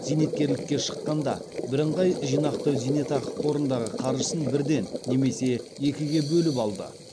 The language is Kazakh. зейнеткерлікке шыққанда біріңғай жинақтау зейнетақы қорындағы қаржысын бірден немесе екіге бөліп алды